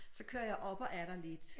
Så kører jeg op og er der lidt